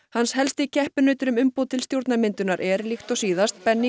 hans helsti keppinautur um umboð til stjórnarmyndunar er líkt og síðast